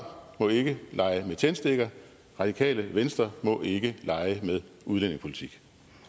må ikke lege med tændstikker radikale venstre må ikke lege med udlændingepolitik